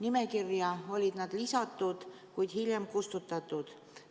Nad olid lisatud nimekirja, kuid hiljem sealt kustutatud.